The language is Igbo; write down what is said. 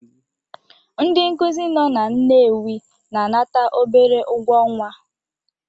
Ndị nkuzi nọ na Nnewi na-anata obere ụgwọ ọnwa